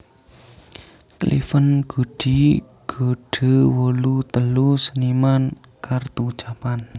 Cleven Goodie Goudeau wolu telu seniman kartu ucapan